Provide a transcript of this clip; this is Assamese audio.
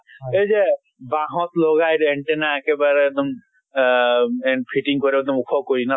হয়। সেই যে বাহত লগায় যে antenna একেবাৰে এক্দম আহ and fitting কৰে ওখ কৰি